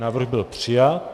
Návrh byl přijat.